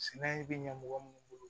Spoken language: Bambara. Sɛnɛ bɛ ɲɛ mɔgɔ minnu bolo